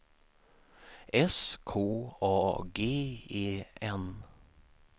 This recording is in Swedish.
S K A G E N